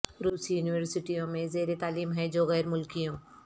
روسی یونیورسٹیوں میں زیر تعلیم ہیں جو غیر ملکیوں